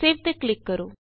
save ਤੇ click ਕਰੋ